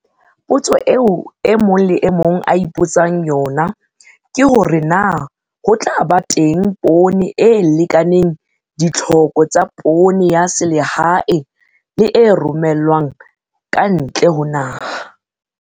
Potso eo e mong le e mong a ipotsang yona ke hore na ho tla ba teng poone e lekaneng ditlhoko tsa poone ya selehae le e romellwang ka ntle ho naha.